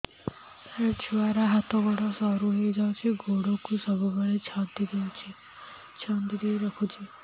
ସାର ଛୁଆର ହାତ ଗୋଡ ସରୁ ହେଇ ଯାଉଛି ଗୋଡ କୁ ସବୁବେଳେ ଛନ୍ଦିଦେଇ ରଖୁଛି